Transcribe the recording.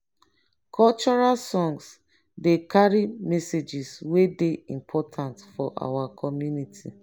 cultural songs dey carry messages wey dey important for our community.